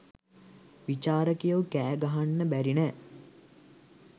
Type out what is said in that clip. විචාරකයො කෑ ගහන්න බැරි නෑ.